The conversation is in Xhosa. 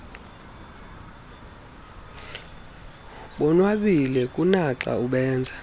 bonwabile kunaxa ubenza